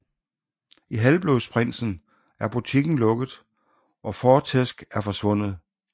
I Halvblodsprinsen er butikken lukket og Fortescue er forsvundet